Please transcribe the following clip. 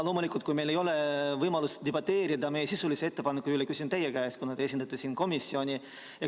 Loomulikult, kui meil ei ole võimalust debateerida meie sisulise ettepaneku üle, küsin teie käest, kuna te esindate siin komisjoni.